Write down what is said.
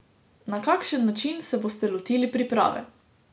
Na kakšen način se boste lotili priprave?